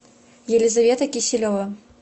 елизавета киселева